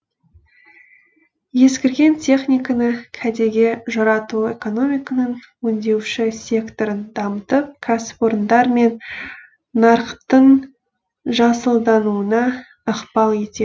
ескірген техниканы кәдеге жарату экономиканың өңдеуші секторын дамытып кәсіпорындар мен нарықтың жасылдануына ықпал ете